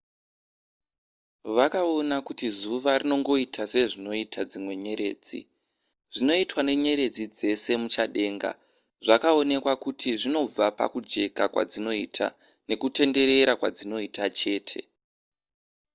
vakaona kuti zuva rinongoita sezvinoita dzimwe nyeredzi zvinoitwa nenyeredzi dzese muchadenga zvakaonekwa kuti zvinobva pakujeka kwadzinoita nekutenderera kwadzinoita chete